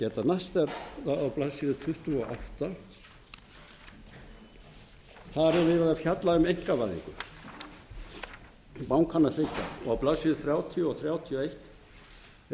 á blaðsíðu tuttugu og átta verið að fjalla um einkavæðingu bankanna þriggja og á blaðsíðu þrjátíu og þrjátíu og eitt